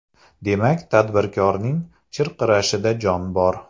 Demak, tadbirkorning chirqirashida jon bor.